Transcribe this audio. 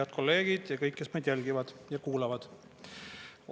Head kolleegid ja kõik, kes meid jälgivad ja kuulavad!